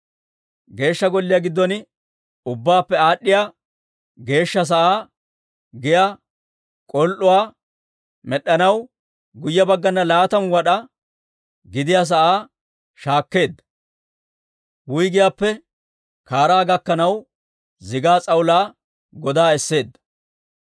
Geeshsha Golliyaa giddon ubbaappe Aad'd'iyaa Geeshsha sa'aa giyaa k'ol"uwaa med'd'anaw, guyye baggana laatamu wad'aa gidiyaa sa'aa shaakkeedda; wuyggiyaappe kaaraa gakkanaw zigaa s'awulaa godaa esseedda.